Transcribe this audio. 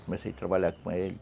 Comecei a trabalhar com ele.